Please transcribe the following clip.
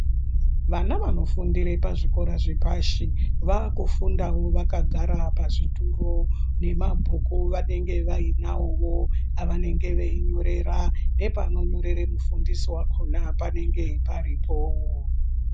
Vana vanofundire pazvikora zvepashi vakufundawo vakagara pazvituru nemabhuku vanenge vainawowo avanenge veinyorera nepano nyorere mufundisi wavo panenge paripo.